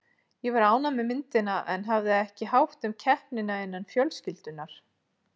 Ég var ánægð með myndina en hafði ekki hátt um keppnina innan fjölskyldunnar.